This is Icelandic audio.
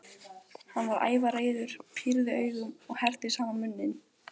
Hann varð ævareiður, pírði augun og herpti saman munninn.